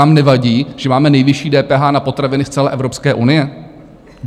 Vám nevadí, že máme nejvyšší DPH na potraviny z celé Evropské unie?